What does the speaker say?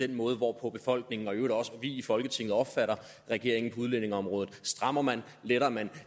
den måde hvorpå befolkningen og i øvrigt også vi i folketinget opfatter regeringen på udlændingeområdet i strammer man letter man